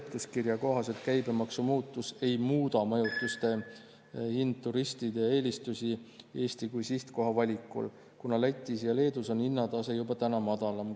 Seletuskirja kohaselt käibemaksu muutus ei muuda majutuse hind turistide eelistusi Eesti kui sihtkoha valikul, kuna Lätis ja Leedus on hinnatase juba täna madalam.